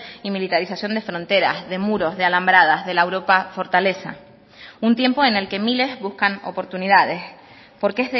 y militarización de fronteras de muros de alambradas de la europa fortaleza un tiempo en el que miles buscan oportunidades porque